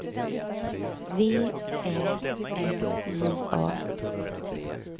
V Ä N J A